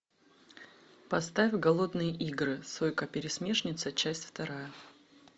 поставь голодные игры сойка пересмешница часть вторая